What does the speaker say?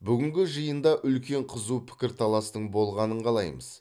бүгінгі жиында үлкен қызу пікірталастың болғанын қалаймыз